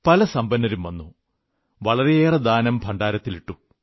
പല സമ്പന്നരും വന്നു വളരെയേറെ ദാനം ഭണ്ഡാരത്തിലിട്ടു